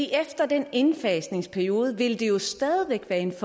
efter den indfasningsperiode vil det jo stadig væk være en